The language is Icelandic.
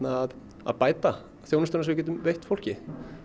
að að bæta þjónustuna sem við getum veitt fólki